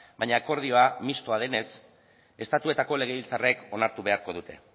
baina akordioa mistoa denez estatuetako legebiltzarrek onartu beharko dute